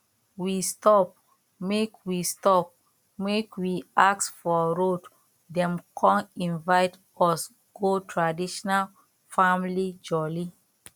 we stop make we stop make we ask for road dem come invite us go traditional family jolly